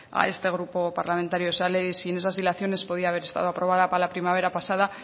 a este grupo parlamentario esa ley sin esas dilaciones podía haber estado aprobada para la primavera pasada